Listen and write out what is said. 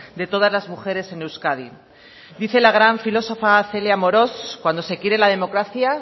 de todas las mujeres en euskadi dice la gran filósofa celia amorós cuando se quiere la democracia